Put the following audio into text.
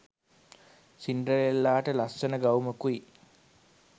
සින්ඩරෙල්ලාට ලස්සන ගවුමකුයි